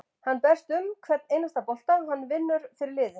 Hann berst um hvern einasta bolta, hann vinnur fyrir liðið.